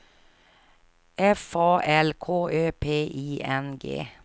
F A L K Ö P I N G